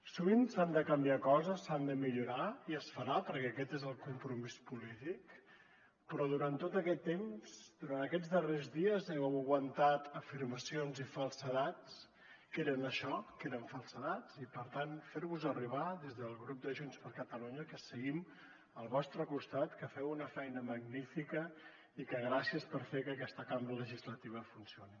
sovint s’han de canviar coses s’han de millorar i es farà perquè aquest és el compromís polític però durant tot aquest temps durant aquests darrers dies heu aguantat afirmacions i falsedats que eren això que eren falsedats i per tant fer vos arribar des del grup de junts per catalunya que seguim al vostre costat que feu una feina magnífica i que gràcies per fer que aquesta cambra legislativa funcioni